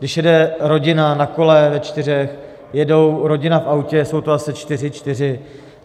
Když jede rodina na kole ve čtyřech, jede rodina v autě, jsou to zase čtyři, čtyři.